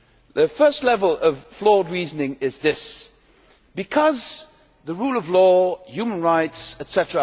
The first level of flawed reasoning is this because the rule of law, human rights, etc.